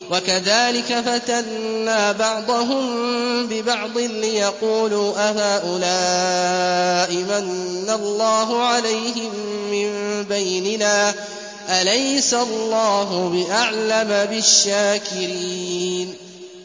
وَكَذَٰلِكَ فَتَنَّا بَعْضَهُم بِبَعْضٍ لِّيَقُولُوا أَهَٰؤُلَاءِ مَنَّ اللَّهُ عَلَيْهِم مِّن بَيْنِنَا ۗ أَلَيْسَ اللَّهُ بِأَعْلَمَ بِالشَّاكِرِينَ